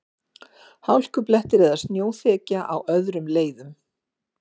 Hálkublettir eða snjóþekja á öðrum leiðum